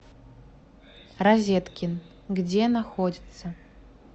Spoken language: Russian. розеткин где находится